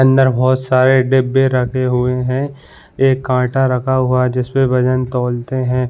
अंदर बहुत सारे डब्बे रखे हुए हैं एक कांटा रखा हुआ है जिस पे वजन तोलते हैं।